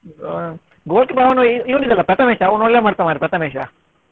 ಆ goal keeper ಅವ್ನು ಇವ್ನು ಇದ್ದಾನಲ್ಲ ಪ್ರಥಮೇಶ್ ಅವನು ಒಳ್ಳೆ ಮಾಡ್ತಾನೆ ಪ್ರಥಮೇಶ.